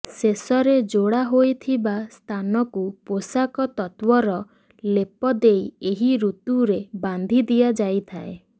ଶେଷରେ ଯୋଡ଼ା ହୋଇଥିବା ସ୍ଥାନକୁ ପୋଷାକ ତତ୍ତ୍ୱର ଲେପ ଦେଇ ଏହି ଋତୁରେ ବାନ୍ଧି ଦିଆଯାଇଥାଏ